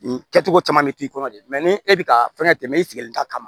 Nin kɛcogo caman bɛ k'i kɔnɔ de ni e bɛ ka fɛn tɛ tɛmɛ i sigilen ta kama